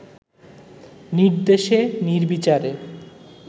নির্দেশে নির্বিচারে